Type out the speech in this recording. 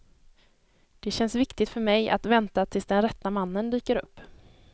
Det känns viktigt för mig att vänta tills den rätta mannen dyker upp.